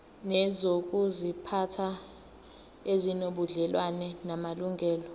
nezokuziphatha ezinobudlelwano namalungelo